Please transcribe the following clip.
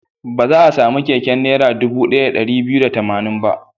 Ba za a sami keken Naira dubu ɗaya da ɗari biyu da tamanin ba.